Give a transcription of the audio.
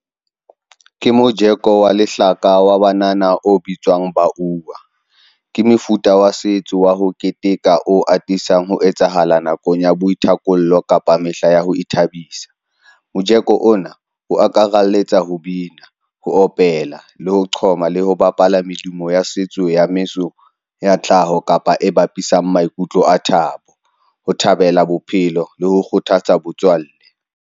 Ke mojeko wa lehlaka wa banana o bitswang ke mefuta wa setso wa ho keteka, o atisang ho etsahala nakong ya boithapollo kapa mehla ya ho ithabisa. Mojeko ona o akaraletsa ho bina, ho opela, le ho qhoma, le ho bapala medumo ya setso ya metso ya tlhaho kapa e bapisang maikutlo a thabo, ho thabela bophelo le ho kgothatsa botswalle.